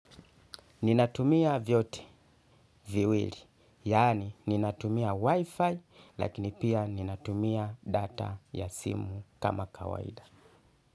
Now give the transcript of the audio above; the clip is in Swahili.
Ninatumia vyote, viwili, yani ninatumia wifi, lakini pia ninatumia data ya simu kama kawaida.